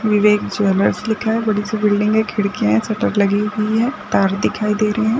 विवेक jewellers लिखा हैं बड़ी सी बिल्डिंग हैं खिड़किया है सटर लगी हुई हैं तार दिखाई दे रहे है।